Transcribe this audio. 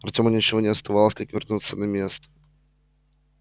артему ничего не оставалось как вернуться на место